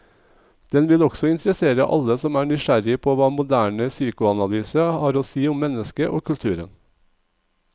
Den vil også interessere alle som er nysgjerrig på hva moderne psykoanalyse har å si om mennesket og kulturen.